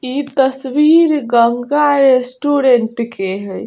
इ तस्वीर गंगा रेस्टोरेंट के है।